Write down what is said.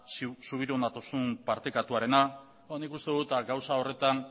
subiranotasun partekatuarena nik uste dut gauza horretan